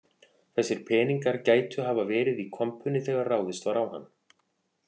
Þessir peningar gætu hafa verið í kompunni þegar ráðist var á hann